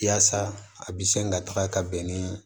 Yaasa a bi sin ka taga ka bɛn ni